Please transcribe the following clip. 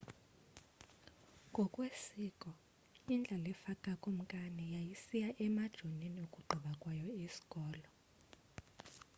ngokwesiko indlalifa kakumkani yayisiya emajonini ukugqiba kwayo isikolo